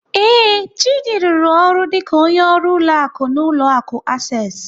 Ee, Chidi rụrụ ọrụ dịka onye ọrụ ụlọ akụ n'ụlọ akụ Access.